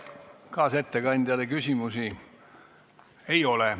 Kaasettekandjale küsimusi ei ole.